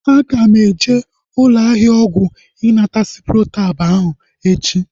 Aga m eje ụlọ ahịa ọgwụ ịnata ciprotab ahu echi